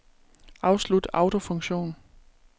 Afslut autofunktion.